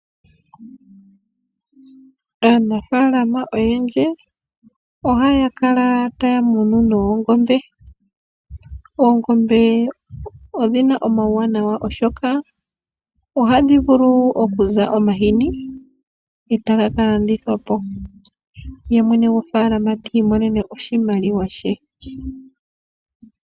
Aanafaalama oyendji oha ya kala ta ya munu oongombe , oongombe odhina omauwanwa oshoka ohadhi vulu okuza omahini e taga kalandithwa po, ye mwene gwofaalama ti imonene oshimaliwa she.